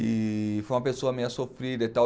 E foi uma pessoa meio sofrida e tal.